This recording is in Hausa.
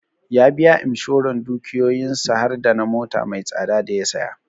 Ya biya Imshoran dukiyoyin sa har dana mota mai tsada da ya saya